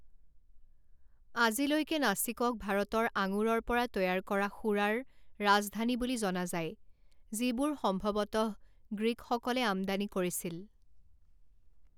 আজিলৈকে নাছিকক ভাৰতৰ আঙুৰৰ পৰা তৈয়াৰ কৰা সুৰাৰ ৰাজধানী বুলি জনা যায়, যিবোৰ সম্ভৱতঃ গ্ৰীকসকলে আমদানি কৰিছিল।